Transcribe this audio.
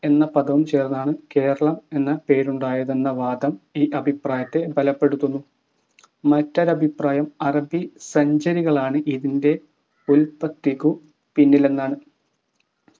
എന്ന പദവും ചേർന്നാണ് കേരളം എന്ന പേരുണ്ടായതെന്ന വാദം ഈ അഭിപ്രായത്തെ ബലപ്പെടുത്തുന്നു മറ്റൊരഭിപ്രായം അറബി സഞ്ചരികളാണ് ഇതിൻ്റെ ഉല്പത്തിക്കു പിന്നിലെന്നാണ്